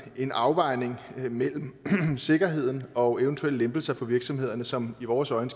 en afvejning mellem sikkerheden og eventuelle lempelser for virksomhederne som i vores øjne